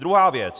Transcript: Druhá věc.